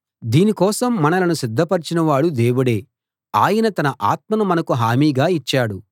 దీని కోసం మనలను సిద్ధపరచినవాడు దేవుడే ఆయన తన ఆత్మను మనకు హామీగా ఇచ్చాడు